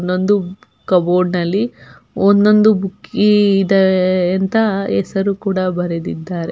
ಇನ್ನೊಂದು ಕಬೋರ್ಡ್ ನಲ್ಲಿ ಒಂದೊಂದು ಬುಕ್ಕಿದೆ ಎ ಎಂತ ಹೆಸರು ಕೂಡ ಬರೆದಿದ್ದಾರೆ .